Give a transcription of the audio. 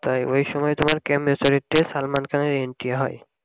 তাই ওই সময় তোমার salman khan এর entry হয়